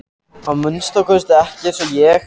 Að minnsta kosti ekki eins og ég.